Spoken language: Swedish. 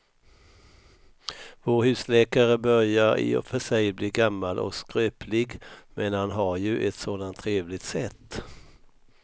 Vår husläkare börjar i och för sig bli gammal och skröplig, men han har ju ett sådant trevligt sätt!